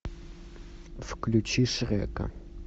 включи шрека